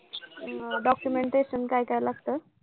अं documentation काय काय लागतं?